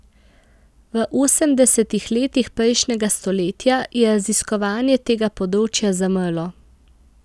V osemdesetih letih prejšnjega stoletja je raziskovanje tega področja zamrlo.